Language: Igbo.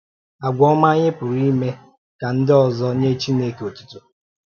Àgwà ọma anyị pụrụ ime um ka ndị ọzọ um nye Chíneké otuto.